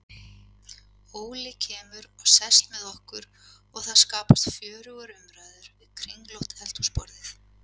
Óli kemur og sest með okkur og það skapast fjörugar umræður við kringlótt eldhúsborðið.